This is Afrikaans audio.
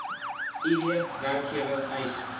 id werkgewer eis